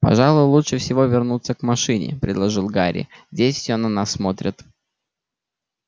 пожалуй лучше всего вернуться к машине предложил гарри здесь все на нас смотрят